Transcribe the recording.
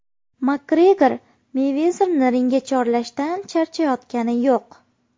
Makgregor Meyvezerni ringga chorlashdan charchayotgani yo‘q.